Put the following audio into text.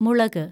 മുളക്